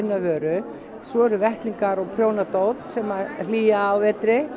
vöru svo eru vettlingar og prjónadót sem að hlýja á vetri